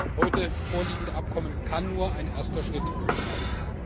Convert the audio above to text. Das heute vorliegende Abkommen kann nur ein erster Schritt sein.